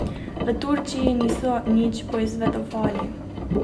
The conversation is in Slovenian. V Turčiji niso nič poizvedovali.